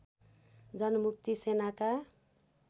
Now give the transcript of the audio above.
जनमुक्ति सेनाका